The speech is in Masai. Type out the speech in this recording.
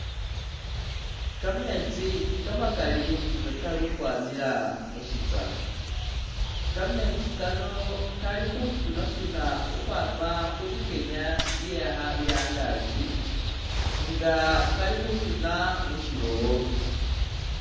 Kameetsi kamakali nga kali ukhwamila mu shitsakha, kameetsi kano kali khusunsuna ukhwama khu bikenya bya angaaki nga kali khusuna mu shilowo.